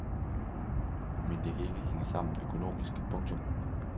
Men det kan ikke hænge sammen økonomisk. punktum